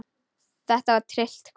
Þetta var tryllt kvöld.